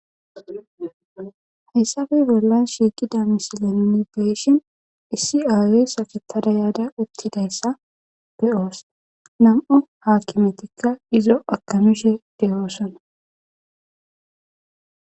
hessafe bollan shiiqida misilenni beeshin issi aa7e safetada yaada uttidayssa be7oos nam7u haakimetikka izo akamishe deyoosana